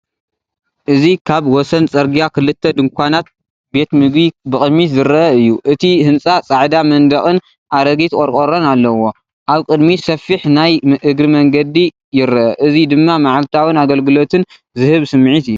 እዚ ካብ ወሰን ጽርግያ ክልተ ድኳናት ቤት ምግቢ ብቕድሚት ዝርአ እዩ። እቲ ህንጻ ጻዕዳ መንደቕን ኣረጊት ቆረቆሮን ኣለዎ። ኣብ ቅድሚት ሰፊሕ ናይ እግሪ መገዲ ይርአ። እዚ ድማ መዓልታዊን ኣገልግሎትን ዝህብ ስምዒት እዩ።